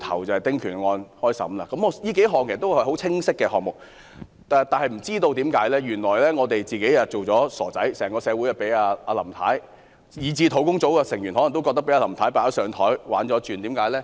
這些都是很清晰的選項，但原來我們一直被當作傻子，整個社會以至專責小組成員可能都覺得被林太"擺上檯"戲弄了。